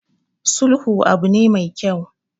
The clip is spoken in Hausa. Sulhu abu ne mai kyau.